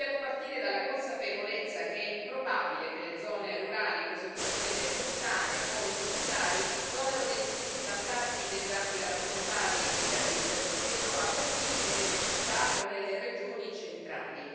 Dobbiamo partire dalla consapevolezza che è improbabile che le zone rurali, così come quelle montane o insulari, godano degli stessi vantaggi derivanti dalla società dei gigabit che sono avvertiti nelle città o nelle regioni centrali.